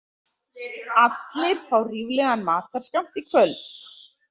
Allir fá ríflegan matarskammt í kvöld.